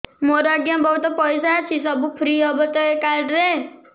ମୋର ଆଜ୍ଞା ବହୁତ ପଇସା ଅଛି ସବୁ ଫ୍ରି ହବ ତ ଏ କାର୍ଡ ରେ